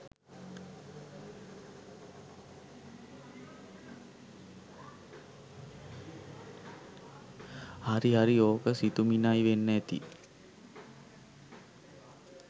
හරිහරිඕක සිතුමිණයි වෙන්න ඇති